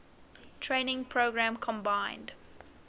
training program combined